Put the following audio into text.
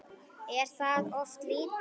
Er það of lítið?